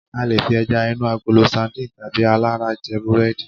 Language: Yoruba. a lè fi eja inu agolo sardine tabi alara je burẹdi